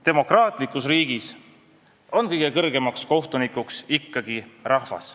Demokraatlikus riigis on kõige kõrgem kohtunik ikkagi rahvas.